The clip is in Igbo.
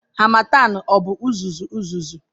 Harmattan ọ bụ uzuzu uzuzu?